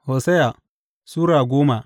Hosiya Sura goma